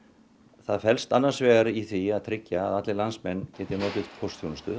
það felst annars vegar í því að tryggja að allir landsmenn geti notið póstþjónustu